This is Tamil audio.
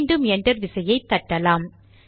மீண்டும் என்டர் விசையை தட்டலாம்